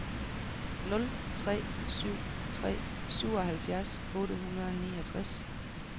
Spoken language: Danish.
nul tre syv tre syvoghalvfjerds otte hundrede og niogtres